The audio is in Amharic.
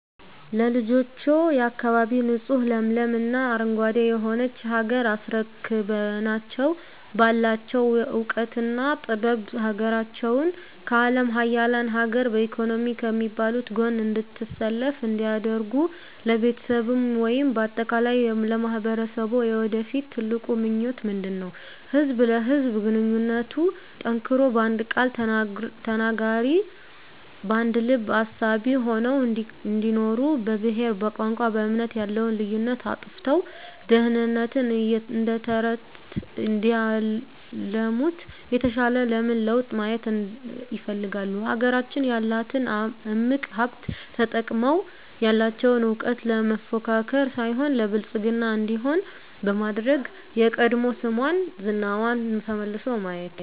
ለልጆችዎ፣ የአካባቢ ንፁህ ለምለም እና አረንጓዴ የሆነች ሀገር አስረክበናቸው ባላቸው እውቀትና ጥበብ ሀገራቸውን ከአለም ሀያላን ሀገር በኢኮኖሚ ከሚባሉት ጎን እንድትሰለፍ እንዲያደርጉ ለቤተሰብዎ ወይም በአጠቃላይ ለማህበረሰብዎ የወደፊት ትልቁ ምኞቶ ምንድነው? ህዝብ ለህዝብ ግንኙነቱ ጠንክሮ በአንድ ቃል ተናጋሪ በአንድ ልብ አሳቢ ሆነው እንዲኖሩ በብሄር በቋንቋ በእምነት ያለውን ልዩነት አጥፍተው ድህነትን እደተረተረት እንዲያለሙት የተሻለ ምን ለውጥ ማየት ይፈልጋሉ? ሀገራችን ያላትን እምቅ ሀብት ተጠቅመው ያለቸውን እውቀት ለመፎካከር ሳይሆን ለብልፅግና እንዲሆን በማድረግ የቀድሞ ስሟና ዝናዋ ተመልሶ ማየት